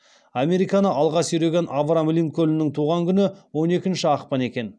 американы алға сүйреген авраам линкольннің туған күні он екінші ақпан екен